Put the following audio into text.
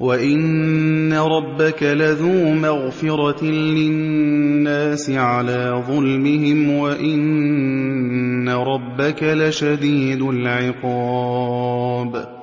وَإِنَّ رَبَّكَ لَذُو مَغْفِرَةٍ لِّلنَّاسِ عَلَىٰ ظُلْمِهِمْ ۖ وَإِنَّ رَبَّكَ لَشَدِيدُ الْعِقَابِ